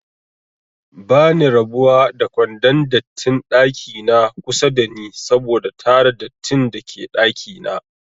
Bani rabuwa da kwandon dattin ɗakina kusa dani saboda tara dattin dake ɗakina